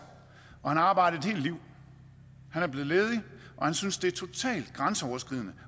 og han har arbejdet et helt liv han er blevet ledig og han synes det er totalt grænseoverskridende